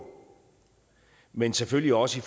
men selvfølgelig også i